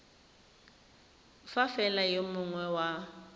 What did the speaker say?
fa fela yo mongwe wa